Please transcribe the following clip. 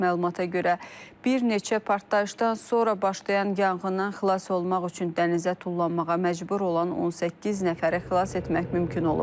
Məlumata görə bir neçə partlayışdan sonra başlayan yanğından xilas olmaq üçün dənizə tullanmağa məcbur olan 18 nəfəri xilas etmək mümkün olub.